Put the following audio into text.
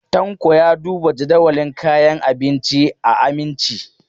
Tanko ya duba jadawalin kayan abinci a Aminci.